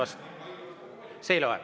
See ei loe.